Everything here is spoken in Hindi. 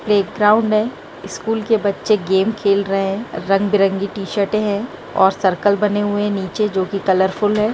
प्ले ग्राउन्ड मे स्कूल के बच्चे गेम खेल रहे है रंग बिरंगे टी-शर्ट है और सर्कलर बने हुए है नीचे जो की कलरफुल बने हुए है।